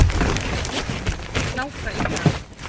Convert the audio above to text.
Hláka í dag.